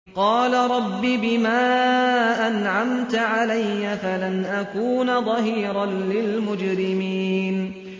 قَالَ رَبِّ بِمَا أَنْعَمْتَ عَلَيَّ فَلَنْ أَكُونَ ظَهِيرًا لِّلْمُجْرِمِينَ